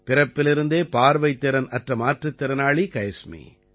பிறப்பிலிருந்தே பார்வைத்திறன் அற்ற மாற்றுத் திறனாளி கைஸ்மி